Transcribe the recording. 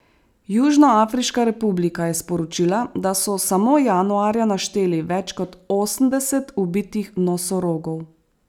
Južnoafriška republika je sporočila, da so samo januarja našteli več kot osemdeset ubitih nosorogov.